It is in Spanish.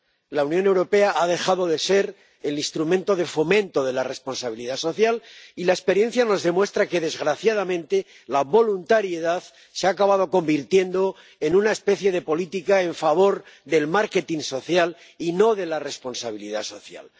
La Unión Europea ha dejado de ser el instrumento de fomento de la responsabilidad social y la experiencia nos demuestra que, desgraciadamente, la voluntariedad se ha acabado convirtiendo en una especie de política en favor del marketing social y no de la responsabilidad social.